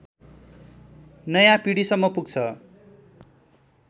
नयाँ पिढीसम्म पुग्छ